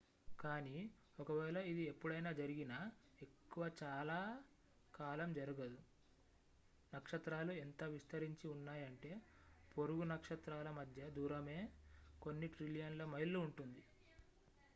కానీ ఒకవేళ ఇది ఎప్పుడైనా జరిగినా ఎక్కువ చాలా కాలం జరగదు నక్షత్రాలు ఎంత విస్తరించి ఉన్నాయంటే పొరుగు నక్షత్రాల మధ్య దూరమే కొన్ని ట్రిలియన్ల మైళ్ళు ఉంటుంది